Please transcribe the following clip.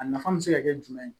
A nafa bɛ se ka kɛ jumɛn ye